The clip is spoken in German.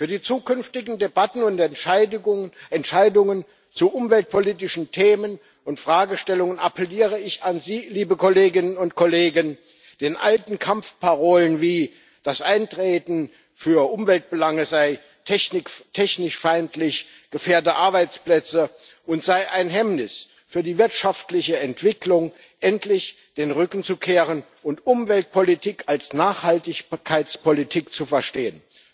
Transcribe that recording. Für die zukünftigen Debatten und Entscheidungen zu umweltpolitischen Themen und Fragestellungen appelliere ich an Sie, liebe Kolleginnen und Kollegen, den alten Kampfparolen wie das Eintreten für Umweltbelange sei technikfeindlich, gefährde Arbeitsplätze und sei ein Hemmnis für die wirtschaftliche Entwicklung endlich den Rücken zu kehren und Umweltpolitik als Nachhaltigkeitspolitik zu verstehen.